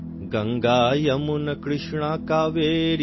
Ganga, Yamuna, Krishna, Kaveri,